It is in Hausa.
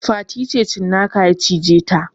Fati ta ce cinnaka ya cije ta